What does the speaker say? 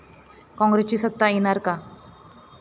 कॉंग्रेसची सत्ता येणार का?